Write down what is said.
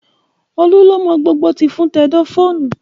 Olú ló mọ gbogbo tìfun tẹ̀dọ̀ fóònù